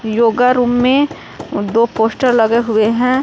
Yoga room में दो poster लगे हुवे हैं।